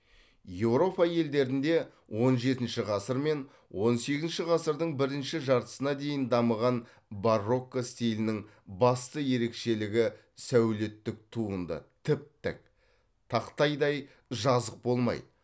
еуропа елдерінде он жетінші ғасыр мен он сегізінші ғасырдың бірінші жартысына дейін дамыған барокко стилінің басты ерекшелігі сәулеттік туынды тіп тік тақтайдай жазық болмайды